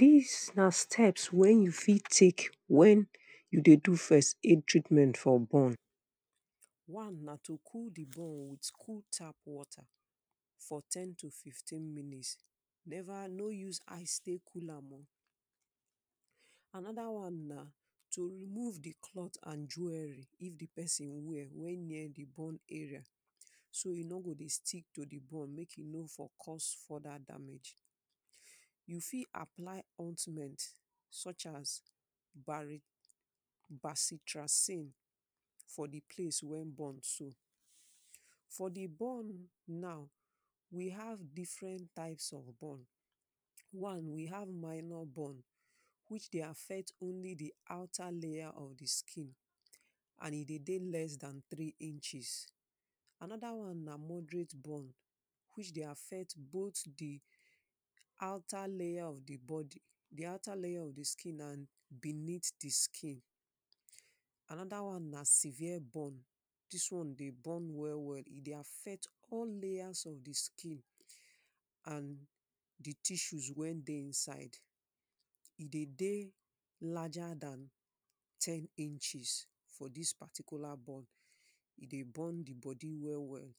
Dis na steps wey you fit take wen you dey do first aid treatment for burn, one na to cool di bone with cool tap water for ten to fifteen minutes never no use ice take cool am oh. Anoda one na to remove the clothe and jewellery if di pesin wear wey near di burn area so e no go dey stick to di burn make e no for cos further damage, you fit apply ointment sure as basitracine for di place wey burn too. For di burn now we have different types of burn, one we have minor burn which dey affect only di outer layer of di skin and e dey dey less dan three inches, anoda one na moderate burn which dey affect both di outer layer of di body, outer layer of di skin and beneath di skin, anoda one na server burn dis one dey burn well well e dey affect all layers of di skin and di tissues wey dey inside, e dey dey larger Dan ten inches for dis particular burn e dey burn di body well well